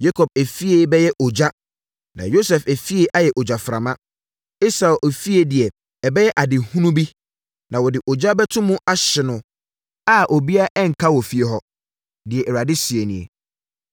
Yakob efie bɛyɛ ogya na Yosef efie ayɛ ogyaframa; Esau efie deɛ ɛbɛyɛ adehunu bi na wɔde ogya bɛto mu ahye no a obiara renka wɔ efie hɔ.” Deɛ Awurade seɛ nie.